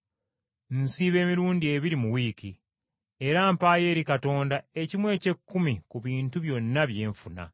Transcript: Nsiiba emirundi ebiri mu wiiki, era mpaayo eri Katonda, ekimu eky’ekkumi ku bintu byonna bye nfuna.’